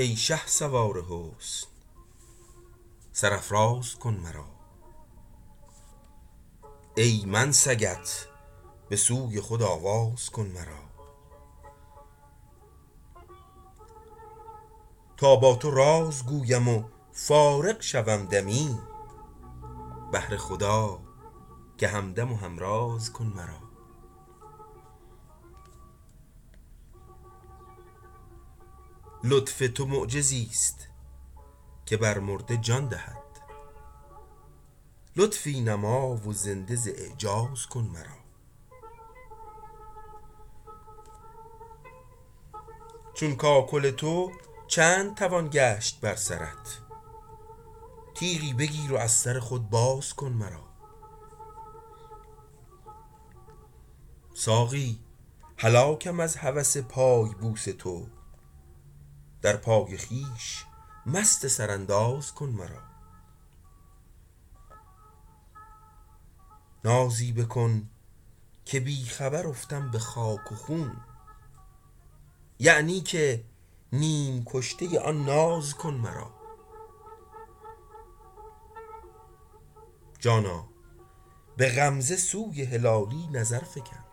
ای شهسوار حسن سر افراز کن مرا ای من سگت بسوی خود آواز کن مرا تا با تو راز گویم و فارغ شوم دمی بهر خدا که همدم و همراز کن مرا لطف تو معجزیست که بر مرده جان دهد لطفی نما و زنده ز اعجاز کن مرا چون کاکل تو چند توان گشت بر سرت تیغی بگیر و از سر خود باز کن مرا ساقی هلاکم از هوس پای بوس تو در پای خویش مست سرانداز کن مرا نازی بکن که بی خبر افتم بخاک و خون یعنی که نیم کشته آن ناز کن مرا جانا بغمزه سوی هلالی نظر فگن